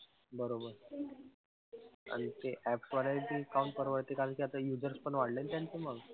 बरोबर. आणि ते apps वर आहे ते काहून परवडते कारण कि आता users पण वाढले ना त्यांचे मग,